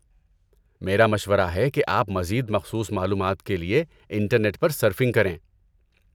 میرا مشورہ ہے کہ آپ مزید مخصوص معلومات کے لیے انٹرنیٹ پر سرفنگ کریں۔